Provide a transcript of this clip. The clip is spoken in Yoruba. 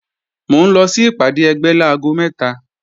Mò ń lọ sí ìpàdé ẹgbẹ́ láago mẹ́ta